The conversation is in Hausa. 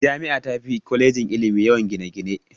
Jami'a tafi kwalejin ilimi yawan gine-gine.